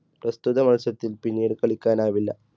പ്രസ്തുത മത്സരത്തിൽ പിന്നീട് കളിക്കാൻ ആവില്ല.